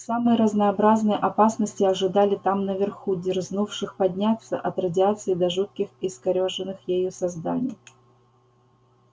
самые разнообразные опасности ожидали там наверху дерзнувших подняться от радиации до жутких искорёженных ею созданий